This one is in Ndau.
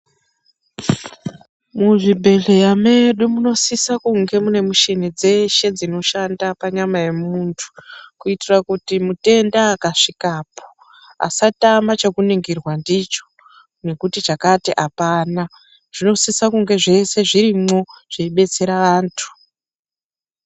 Muzvibhedhleya medu munosisa kunge mune mushini dzeshe dzinoshanda panyama yemuntu kuitira kuti mutenda akasvikapo asatama chekuningirwa ndicho nekuti chakati apana zvinosisa kunge zvese zvirimo zveibetsera antu.